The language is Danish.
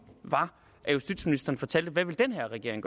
var at justitsministeren fortalte hvad den her regering